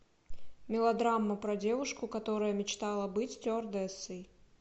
мелодрама про девушку которая мечтала быть стюардессой